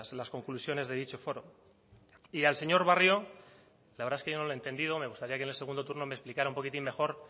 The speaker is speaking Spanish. las conclusiones de dicho foro y al señor barrio la verdad es que yo no le he entendido me gustaría que en el segundo turno me explicara un poquitín mejor